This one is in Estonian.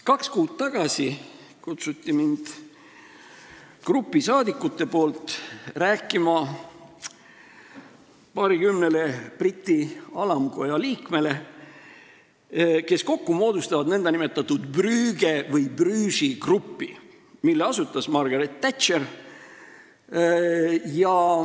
Kaks kuud tagasi kutsus grupp saadikuid mind rääkima paarikümnele Briti alamkoja liikmele, kes kokku moodustavad nn Brügge või Brugesi grupi, mille asutas Margaret Thatcher.